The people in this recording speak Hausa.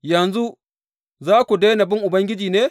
Yanzu za ku daina bin Ubangiji ne?